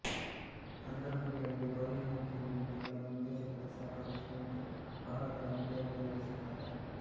ಅಂತರ್ಮುಖಿಗಳಿಗೆ ಬಹಿರ್ಮುಖಿಗಳಿಗಿಂತ ಕಡಿಮೆ ಉತ್ತೇಜಕತೆ ಸಾಕಾಗುತ್ತದೆ ಮತ್ತು ಬಹಳ ಕಾಲ ಒಂಟಿಯಾಗಿರಬಯಸುತ್ತಾರೆ